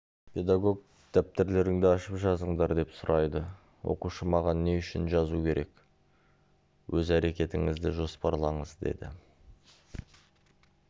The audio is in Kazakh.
педагог дәптерлеріңді ашып жазыңдар деп сұрайды оқушы маған не үшін жазу керек өз әрекетіңізді жоспарлаңыз деді